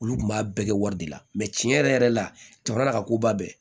Olu kun b'a bɛɛ kɛ wari de la cɛn yɛrɛ yɛrɛ la jamana ka ko b'a bɛɛ